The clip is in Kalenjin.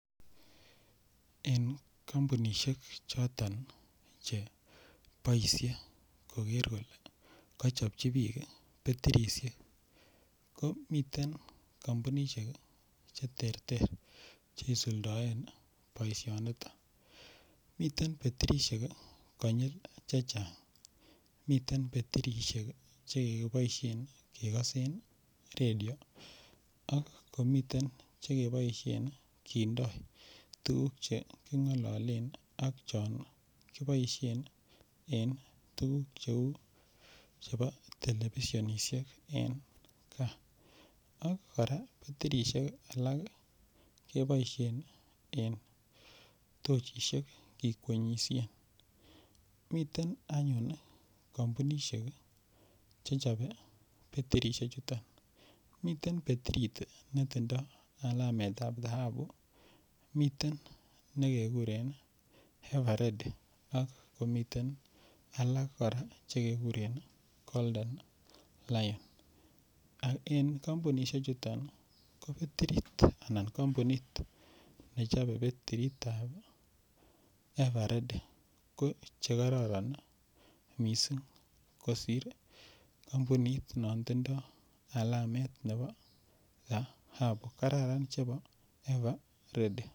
En kampunishek choton che boishe koker kole kachopchi biik betirishek ko miten kampunishek cheterter che isuldoen boishonito miten betirishek konyil chechang' miten betirishek chekiboishen en kekosen radio ak komiten chekiboishen kindoi tukuk cheking'ololen ak chon kiboishen en tukuk cheu chebo televishonishek en kaa ak kora betirishek alak keboishen en tochishek ikwenyishen mitein anyun kampunishek chechobe betirishechuto miten betirit netindoi alametab dhahabu miten nekekuren everready ak komiten alak kora chekekuren golden lion ak en kampunishe chuton bo betirit anan kampunit nechobe betiritab everready ko chekororon mising' kosir kampunit non tindoi alamet nebo dhahabu kararan chebo ever ready